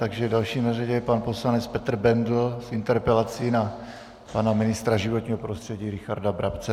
Takže další na řadě je pan poslanec Petr Bendl s interpelací na pana ministra životního prostředí Richarda Brabce.